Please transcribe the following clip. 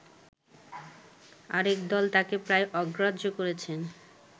আরেকদল তাঁকে প্রায় অগ্রাহ্য করেছেন